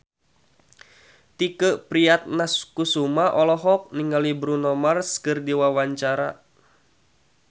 Tike Priatnakusuma olohok ningali Bruno Mars keur diwawancara